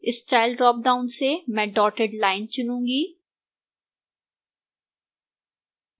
style dropdown से मैं dotted lines चुनूंगी